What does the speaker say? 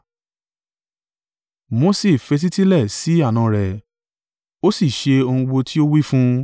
Mose fetísílẹ̀ sí àna rẹ̀, ó sì ṣe ohun gbogbo tí ó wí fún un.